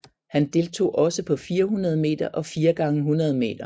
Han deltog også på 400 meter og 4 x 100 meter